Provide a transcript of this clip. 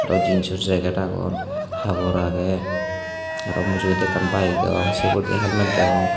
aroh jeans oh jacket agon habor ageh aroh mujongedi ekkan bike degong se ugurey di helmet degong.